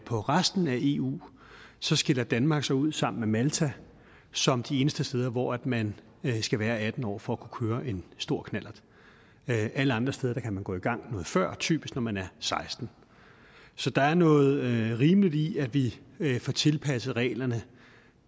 på resten af eu så skiller danmark sig ud sammen med malta som de eneste steder hvor man skal være atten år for at kunne køre en stor knallert alle andre steder kan man gå i gang noget før typisk når man er sekstende så der er noget rimeligt i at vi får tilpasset reglerne